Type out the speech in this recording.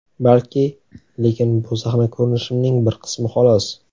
Balki, lekin bu sahna ko‘rinishimning bir qismi, xolos.